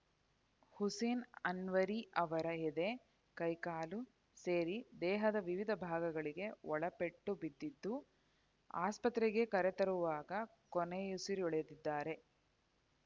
ಹುಸೇನ್‌ ಅನ್ವರಿ ಅವರ ಎದೆ ಕೈಕಾಲು ಸೇರಿ ದೇಹದ ವಿವಿಧ ಭಾಗಗಳಿಗೆ ಒಳಪೆಟ್ಟು ಬಿದ್ದಿದ್ದು ಆಸ್ಪತ್ರೆಗೆ ಕರೆತರುವಾಗ ಕೊನೆಯುಸಿರೆಳೆದಿದ್ದಾರೆ